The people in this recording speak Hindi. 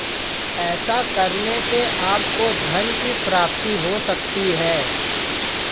ऐसा करने से आपको धन की प्राप्ति हो सकती है